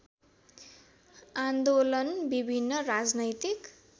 आन्दोलन विभिन्न राजनैतिक